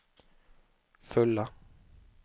fulla